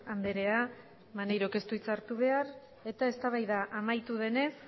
andrea maneirok ez du hitza hartu behar eta eztabaida amaitu denez